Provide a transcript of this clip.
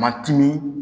Matimin